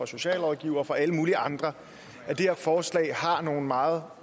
socialrådgivere og fra alle mulige andre at det her forslag har nogle meget